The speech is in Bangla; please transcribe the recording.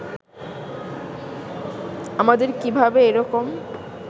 আমাদের কীভাবে এ রকম